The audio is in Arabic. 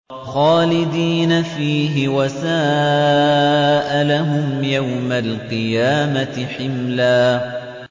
خَالِدِينَ فِيهِ ۖ وَسَاءَ لَهُمْ يَوْمَ الْقِيَامَةِ حِمْلًا